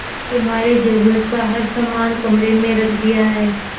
तुम्हारे जरूरत का हर समान कमरे में रख दिया है